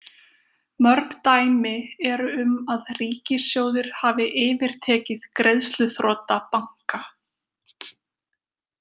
Mörg dæmi eru um að ríkissjóðir hafi yfirtekið greiðsluþrota banka.